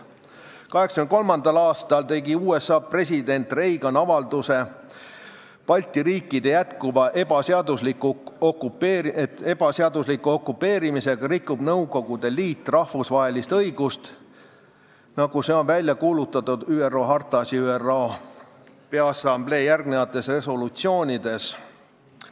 1983. aastal tegi USA president Reagan avalduse, et Balti riikide jätkuva ebaseadusliku okupeerimisega rikub Nõukogude Liit rahvusvahelist õigust, nagu see on välja kuulutatud ÜRO hartas ja ÜRO Peaassamblee järgnevates resolutsioonides.